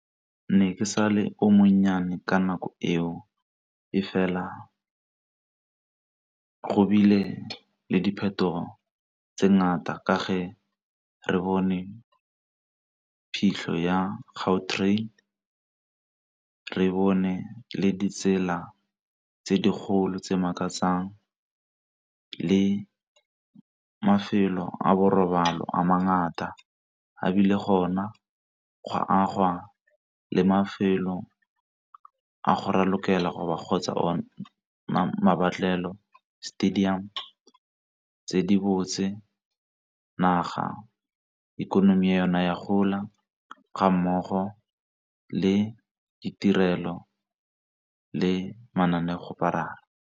Ke ne ke sa le o monnyane ka nako eo, e fela go bile le diphetogo tse ngata ka ge re bone phitlho ya Gautrain, re bone le ditsela tse dikgolo tse makatsang le mafelo a borobalo a mangata a bile gona gwa agwa le mafelo a go ralokela ba kgotsa stadium tse di botse naga ikonomi yona ya gola ga mmogo le ditirelo le mananeo kgoparara.